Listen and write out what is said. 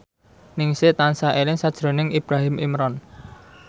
Ningsih tansah eling sakjroning Ibrahim Imran